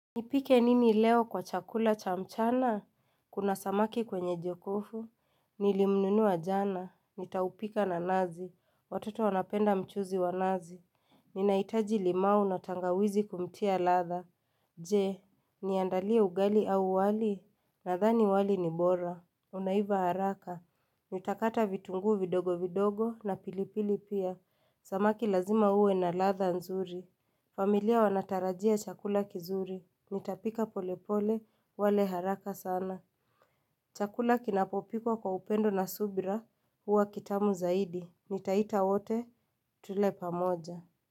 Nipike nini leo kwa chakula cha mchana, kuna samaki kwenye jokofu, nilimnunua jana, nitaupika na nazi, watoto wanapenda mchuzi wa nazi Ninahitaji limau na tangawizi kumtia ladha. Je, niandalie ugali au wali? Nadhani wali ni bora, unaiva haraka, nitakata vitunguu vidogo vidogo na pilipili pia, samaki lazima uwe na ladha nzuri familia wanatarajia chakula kizuri, nitapika polepole, wale haraka sana. Chakula kinapopikwa kwa upendo na subira, huwa kitamu zaidi, nitaita wote, tule pamoja.